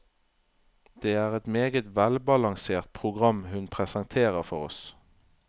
Det er et meget velbalansert program hun presenterer for oss.